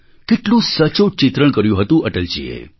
કેટલું સચોટ ચિત્રણ કર્યું હતું અટલજીએ